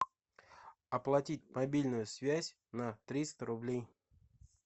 оплатить мобильную связь на триста рублей